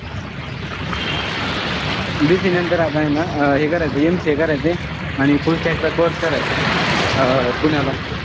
BCA नंतर आता ए ना हे करायचंय MCA करायचंय. आणि full stack चा course करायचाय. अं पुण्याला.